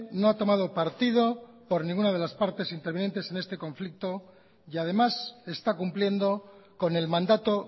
no ha tomado partido por ninguna de las partes intervinientes en este conflicto y además está cumpliendo con el mandato